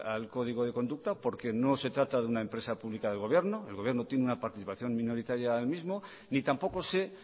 al código de conducta porque no se trata de una empresa pública del gobierno el gobierno tiene una participación minoritaria en el mismo ni tampoco sé